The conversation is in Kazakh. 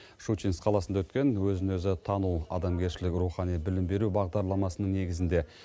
щучинск қаласында өткен өзін өзі тану адамгершілік рухани білім беру бағдарламасының негізінде